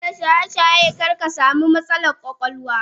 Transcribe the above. Daina shayeshaye karkasamu matsalan kwakwalwa.